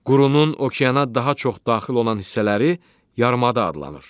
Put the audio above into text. Qurunurun okeana daha çox daxil olan hissələri yarımada adlanır.